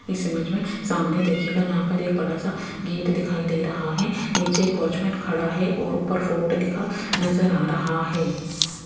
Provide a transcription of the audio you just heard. इस इमेज में सामने देखिएगा जहां पर एक बड़ा सा गेट दिखाई दे रहा है नीचे एक वॉच मैन में खड़ा है और ऊपर फोर्ट लिखा नजर आ रहा है।